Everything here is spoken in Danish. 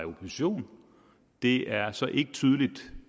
opposition det er så ikke tydeligt